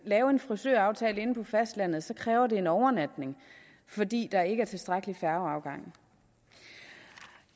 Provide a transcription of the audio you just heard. lave en frisøraftale inde på fastlandet kræver det en overnatning fordi der ikke er tilstrækkeligt med færgeafgange